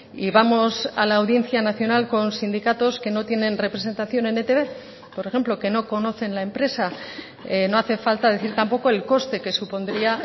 y vamos a la audiencia nacional con sindicatos que no tienen representación en etb por ejemplo que no conocen la empresa no hace falta decir tampoco el coste que supondría